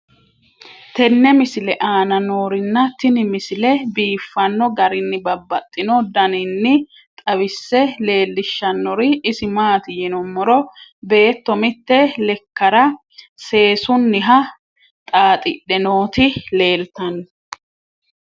tenne misile aana noorina tini misile biiffanno garinni babaxxinno daniinni xawisse leelishanori isi maati yinummoro beetto mitte lekkara seessuniha xaaxidhe nootti leelittanno